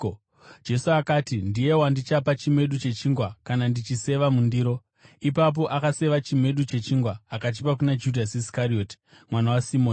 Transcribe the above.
Jesu akati, “Ndiye wandichapa chimedu chechingwa kana ndachiseva mundiro.” Ipapo, akaseva chimedu chechingwa, akachipa kuna Judhasi Iskarioti, mwanakomana waSimoni.